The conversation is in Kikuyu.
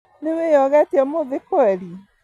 Nĩwĩyogete ũmũthĩ kweri?